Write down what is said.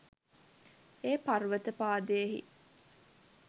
ඒ පර්වත පාදයෙහි